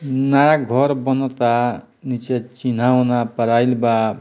नया घर बनता नीचे चिन्हा-उन्हा परायल बा।